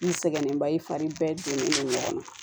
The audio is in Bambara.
N sɛgɛnnenba ye fari bɛɛ donnen don ɲɔgɔn na